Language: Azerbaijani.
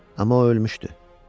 Amma o ölmüşdü.